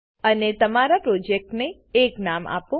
અને તમારા પ્રોજેક્ટને એક નામ આપો